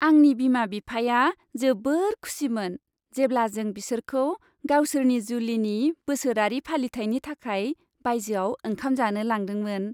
आंनि बिमा बिफाया जोबोद खुसिमोन, जेब्ला जों बिसोरखौ गावसोरनि जुलिनि बोसोरारि फालिथायनि थाखाय बायजोआव ओंखाम जानो लांदोंमोन।